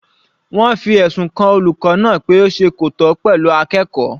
Wọ́n fi ẹ̀sùn kan olùkọ́ náà pé ó ṣe kò tọ́ pẹ̀lú akẹ́kọ̀ọ́.